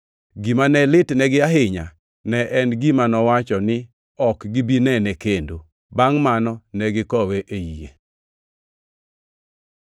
Gima ne litnegi ahinya ne en gima nowacho ni ne ok gibi nene kendo. Bangʼ mano ne gikowe ei yie.